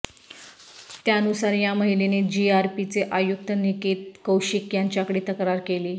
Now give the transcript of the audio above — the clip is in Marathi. त्यानुसार या महिलेने जीआरपीचे आयुक्त निकेत कौशिक यांच्याकडे तक्रार केली